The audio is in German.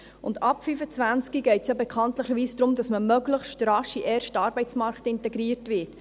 Bekanntlich geht es ja ab 25 Jahren darum, dass man möglichst rasch in den ersten Arbeitsmarkt integriert wird.